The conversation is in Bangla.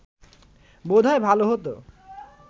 বোধ হয় ভালো হতো